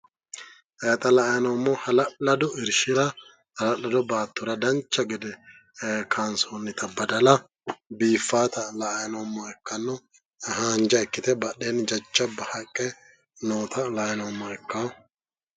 Xa la'anni noommohu hala'lado baattora dancha gede ee kayinsionnita badala biiffaati la'anni noommoha ikkanno. Haanja ikkite badheenni jajjabba haqqe nootano la'ayi noommoha ikkanno.